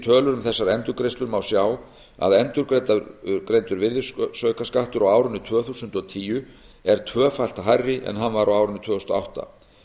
tölur um þessar endurgreiðslur má sjá að endurgreiddur virðisaukaskattur á árinu tvö þúsund og tíu er tvöfalt hærri en hann var á árinu tvö þúsund og átta